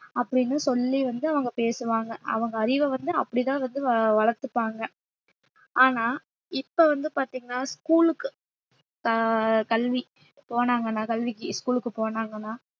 அப்பிடின்னு சொல்லி வந்து அவங்க பேசுவாங்க அவங்க அறிவை வந்து அப்படிதான் வந்து வ~ வளர்த்துப்பாங்க ஆனா இப்ப வந்து பாத்தீங்கன்னா school க்கு ஆஹ் கல்வி போனாங்கன்னா கல்விக்கு school க்கு போனாங்கன்னா